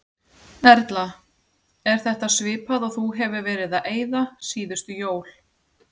Erla: Er þetta svipað og þú hefur verið að eyða síðustu jól?